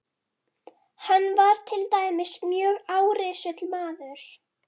Hann var til dæmis mjög árrisull maður.